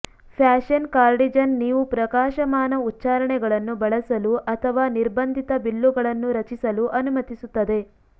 fashion cardigan ನೀವು ಪ್ರಕಾಶಮಾನ ಉಚ್ಚಾರಣೆಗಳನ್ನು ಬಳಸಲು ಅಥವಾ ನಿರ್ಬಂಧಿತ ಬಿಲ್ಲುಗಳನ್ನು ರಚಿಸಲು ಅನುಮತಿಸುತ್ತದೆ